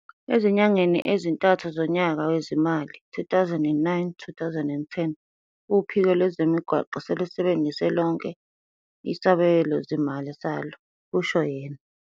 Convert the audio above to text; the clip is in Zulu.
Ezinyangeni ezintathu zonyaka wezimali, 2009, 2010, uphiko lwezemigwaqo selusebenzise lonke isabelozimali salo, kusho yena.